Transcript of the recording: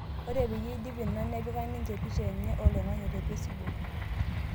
Ore peyie eidp ina nepika ninye pisha enye oloing'ang'e tepesibuk